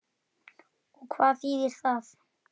Og hvað þýðir það?